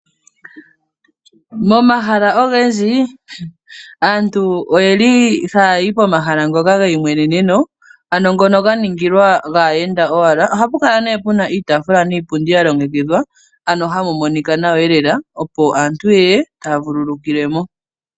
Momahala ogendji aantu oyeli haayi pomahala ngoka ge imweneneno ano ngono ga ningilwa gaayenda owala. Ohapu kala nee puna iitaafula niipundi ya longekidhwa, ano hamu monika nawa lela opo aantu ye ye taa vululukilwa mo.